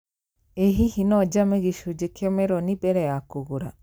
Ĩ hihi no njame gĩcunjĩ kĩa meroni mbere ya kũgũra?